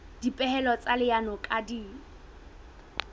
dipehelo tsa leano di ka